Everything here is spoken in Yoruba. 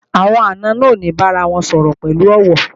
Àwọn àna náà ò ní bára wọn sọ̀rọ̀ pẹ̀lú ọ̀wọ̀